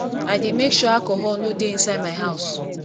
i dey make sure alcohol no dey inside my house